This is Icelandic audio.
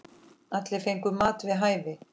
Allir fengu mat við hæfi.